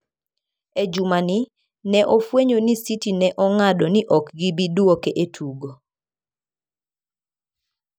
E jumani, ne ofweny ni City ne ong'ado ni ok gibi duoke e tugo.